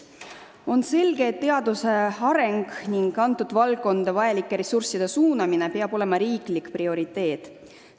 On selge, et teaduse areng ning sellesse valdkonda vajalike ressursside suunamine peab olema riiklik prioriteet.